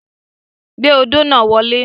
Gbé odó náà wọlé.